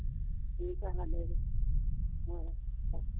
ਠੀਕ ਹੈ ਸਾਡੇ ਹਾਂ ਵਧੀਆ